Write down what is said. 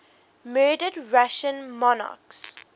murdered russian monarchs